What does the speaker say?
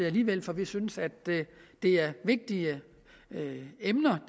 alligevel for vi synes at det er vigtige emner